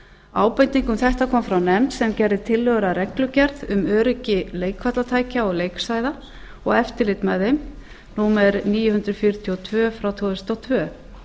ábending um þetta kom frá nefnd sem gerði tillögur að reglugerð um öryggi leikvallatækja og leiksvæða og eftirlit með þeim númer níu hundruð fjörutíu og tvö tvö þúsund og tvö